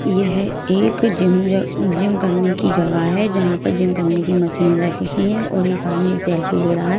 यह एक gym gym करने की जगह है जहां पर जिम करने की मशीन रखी है और एक आदमी सेल्फी ले रहा है।